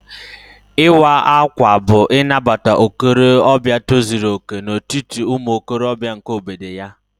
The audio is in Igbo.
Ịwa ákwà bú Inabata okorobịa tozuru okè n'etiti umuokorobia nke obodo ya